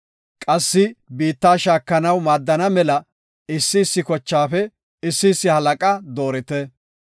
Qassi biitta shaakanaw maadana mela issi issi kochaafe issi issi halaqa doorite.”